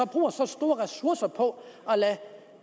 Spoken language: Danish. ressourcer på at lade